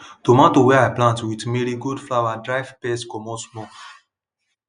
tomato wey i plant with marigold flower drive pests comot small